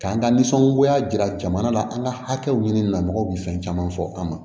K'an ka nisɔngoya jira jamana la an ka hakɛw ɲini namɔgɔw bɛ fɛn caman fɔ an ma